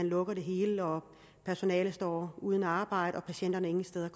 lukke det hele og personalet står uden arbejde og patienterne ingen steder